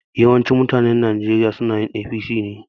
Yawancin mutanen Nijeriya sunayin APC ne